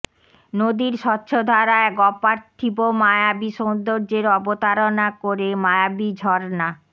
নদীর স্বচ্ছধারা এক অপার্থিব মায়াবি সৌন্দর্যের অবতারণা করে মায়াবী ঝর্না